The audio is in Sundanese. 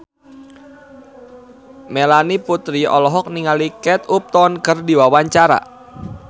Melanie Putri olohok ningali Kate Upton keur diwawancara